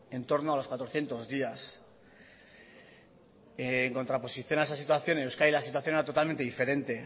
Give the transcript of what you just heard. entorno a los cuatrocientos días en contraposición a esa situación en euskadi la situación era totalmente diferente